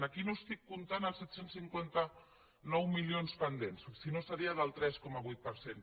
aquí no estic comptant els set cents i cinquanta nou milions pendents sinó seria del tres coma vuit per cent